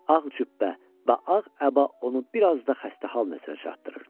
Ağ cübbə və ağ əba onu bir az da xəstə hal nəzərə çatdırırdı.